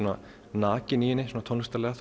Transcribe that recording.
nakinn í henni svona tónlistarlega